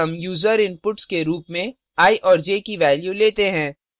फिर हम user inputs के रूप में i और j की values लेते हैं